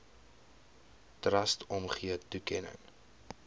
trust omgee toekenning